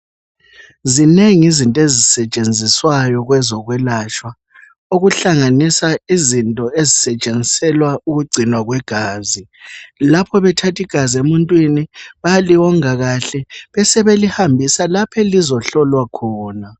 Zinengi izinto ezisetshenziswayo kwezokwelatshwa, okuhlanganisa izinto ezisetshenziselwa ukugcinwa kwegazi. Lapho bethatha igazi emuntwini, bayaliwonga kahle besebelihambisa laph' elizohlolwa khona.